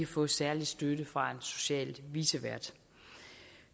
få særlig støtte fra en social vicevært